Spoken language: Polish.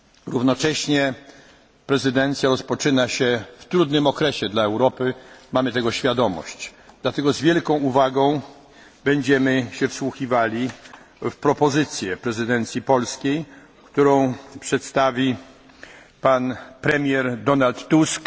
Równocześnie prezydencja rozpoczyna się w trudnym okresie dla Europy mamy tego świadomość. Dlatego z wielką uwagą będziemy się wsłuchiwali w propozycję prezydencji polskiej, którą przedstawi pan premier Donald Tusk.